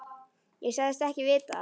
Ég sagðist ekki vita það.